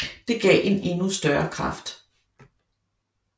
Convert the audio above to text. Det gav en endnu større kraft